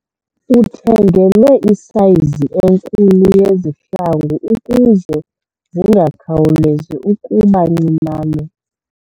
Uthengelwe isayizi enkulu yezihlangu ukuze zingakhawulezi ukuba ncinane.